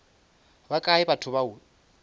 ba kae batho ba o